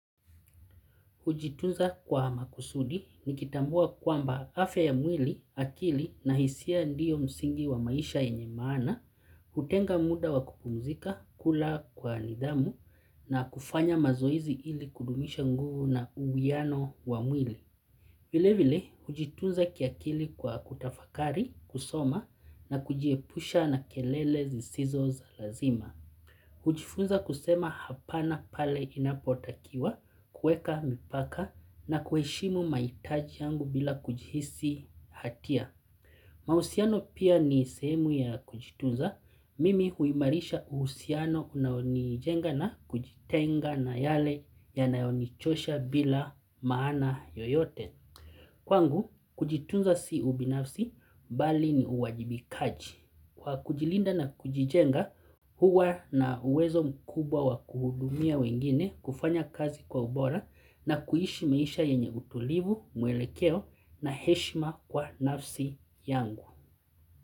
Hujitunza kwa makusudi ni kitambua kwamba afya ya mwili, akili na hisia ndiyo msingi wa maisha yenye maana, hutunga muda wa kupumzika, kula kwa nidhamu, na kufanya mazoezi ili kudumisha nguvu na uwiano wa mwili. Vile vile, hujitunza kiakili kwa kutafakari, kusoma na kujiepusha na kelele zisizo za lazima. Hujifunza kusema hapana pale inapotakiwa, kueka mipaka na kuheshimu maitaji yangu bila kujihisi hatia. Mahusiano pia ni sehemu ya kujitunza, mimi huimarisha uhusiano unaonijenga na kujitenga na yale yanayo nichosha bila maana yoyote. Kwangu kujitunza si ubinafsi bali ni uwajibikaji. Kwa kujilinda na kujijenga huwa na uwezo mkubwa wa kuhudumia wengine kufanya kazi kwa ubora na kuishi maisha yenye utulivu, mwelekeo na heshima kwa nafsi yangu.